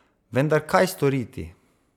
Vendar kaj storiti?